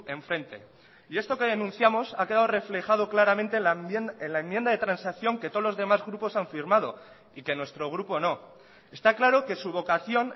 enfrente y esto que denunciamos ha quedado reflejado claramente en la enmienda de transacción que todos los demás grupos han firmado y que nuestro grupo no está claro que su vocación